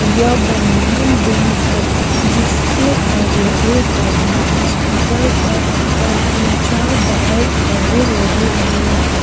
यह बंधन बैंक है जिसके आगे एक आदमी स्कूटर पर और तीन-चार बाइक आगे लगे हुए हैं।